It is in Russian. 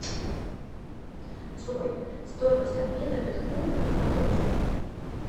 джой стоимость обмена биткоина на доллар